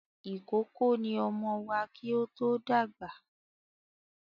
Ìkókó ni ọmọ wà kí ó to dàgbà.